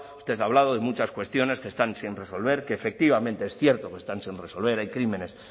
usted ha hablado de muchas cuestiones que están sin resolver que efectivamente es cierto que están sin resolver hay crímenes